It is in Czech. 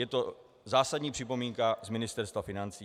Je to zásadní připomínka z Ministerstva financí.